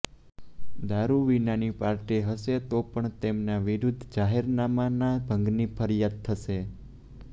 દારૂ વિનાની પાર્ટી હશે તો પણ તેમના વિરૂદ્ધ જાહેરનામાના ભંગની ફરિયાદ થશે